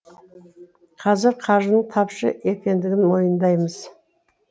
қазір қаржының тапшы екендігін мойындаймыз